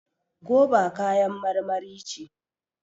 goba kayan marmari ce